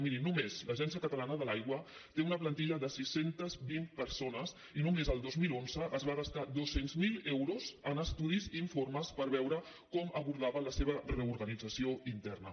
miri només l’agència catalana de l’aigua té una plantilla de sis cents i vint persones i només el dos mil onze es va gastar dos cents miler euros en estudis i informes per veure com abordaven la seva reorganització interna